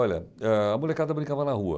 Olha, a molecada brincava na rua.